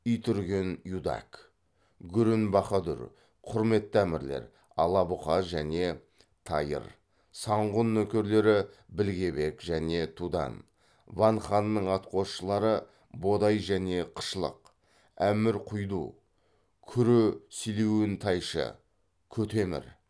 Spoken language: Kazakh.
итүрген юдак гүрін бахадүр құрметті әмірлер ала бұқа және тайыр санғұн нөкерлері білге бек және тудан ван ханның атқосшылары бодай және қышлық әмір құйду күрі силиүн тайшы кү темір